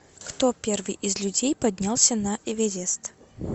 кто первый из людей поднялся на эверест